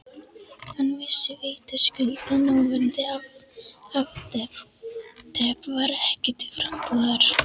Hann vissi vitaskuld að núverandi afdrep var ekki til frambúðar.